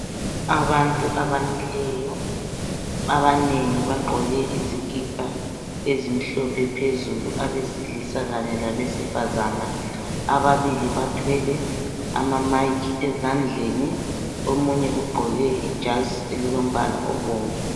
Abantu abamileyo abanengi bagqoke izikipa ezimhlophe phezulu abesilisa kanye labesifazana ababili bathwele ama mic ezandleni omunye ugqoke ijazi elilombala obomvu